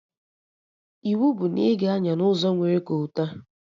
Iwu bụ na ị ga-anya n'ụzọ nwere kolta!